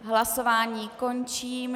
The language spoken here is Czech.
Hlasování končím.